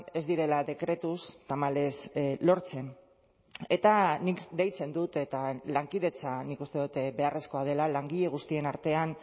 ez direla dekretuz tamalez lortzen eta nik deitzen dut eta lankidetza nik uste dut beharrezkoa dela langile guztien artean